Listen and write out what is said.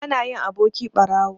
Bana yin aboki ɓarawo.